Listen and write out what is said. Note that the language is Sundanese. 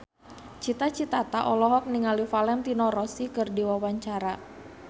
Cita Citata olohok ningali Valentino Rossi keur diwawancara